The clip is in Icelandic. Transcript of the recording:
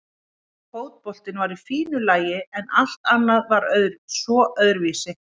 Fótboltinn var í fínu lagi en allt annað var svo öðruvísi.